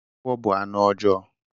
Agwọ bu anụ ọjọọ.